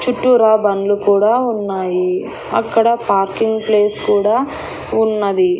చుట్టూరా బండ్లు కూడా ఉన్నాయి అక్కడ పార్కింగ్ ప్లేస్ కూడా ఉన్నది.